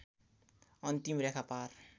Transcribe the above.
अन्तिम रेखा पार